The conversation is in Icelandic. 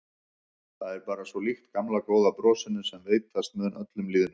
Það er bara svo líkt gamla góða brosinu sem veitast mun öllum lýðnum.